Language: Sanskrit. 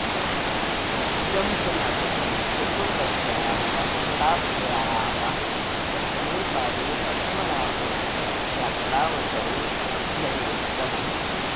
इदं च नाटकं चतुर्दश्याः शताब्द्याः प्रथमे पादे पद्मनाभयात्रावसरेऽभ्यनीतम्